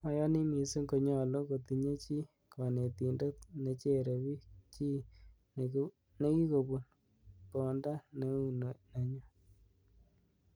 Ayoni missing konyolu kotinye chi konetindet nechere bik, chi nekikobun bonda neu nenyun.